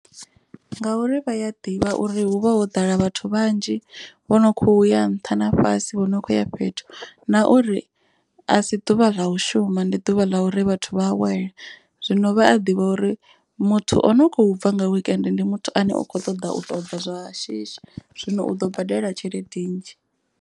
Ngauri vhaya ḓivha uri hu vha ho ḓala vhathu vhanzhi vhono khou ya nṱha na fhasi vho no kho ya fhethu. Na uri a si ḓuvha ḽa u shuma ndi ḓuvha ḽa uri vhathu vha awela. Zwino vha a ḓivha uri muthu o no kho bva nga weekend ndi muthu ane u kho ṱoḓa u tobva zwa shishi zwino u ḓo badela tshelede nnzhi.